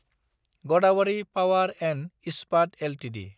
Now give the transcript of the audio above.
Godawari power & Ispat Ltd